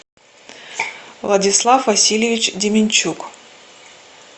владислав васильевич деменчук